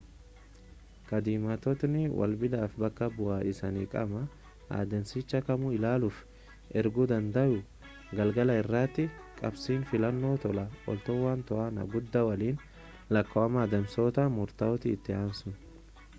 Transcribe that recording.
kaadhimamtootni wabiidhaaf bakka bu'aa isaani qaama adeemsichaa kamuu ilaaluuf erguu dandayu galgala irratti qabxiin filannoo tola ooltotaan to'annaa guddaa waliin lakkaawama adeemsota murtaa'oo itti aansuun